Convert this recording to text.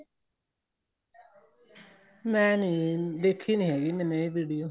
ਮੈਂ ਨਹੀਂ ਦੇਖੀ ਨਹੀਂ ਹੈਗੀ ਮੈਨੇ ਇਹ video